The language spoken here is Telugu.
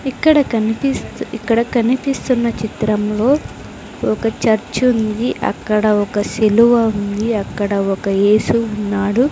ఇక్కడ కనిపిస్తూ ఇక్కడ కనిపిస్తున్న చిత్రంలో ఒక చర్చుంది అక్కడ ఒక శిలువ ఉంది అక్కడ ఒక యేసు ఉన్నాడు.